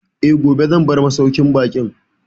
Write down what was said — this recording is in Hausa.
Eh, gobe zan bar masauƙin baƙin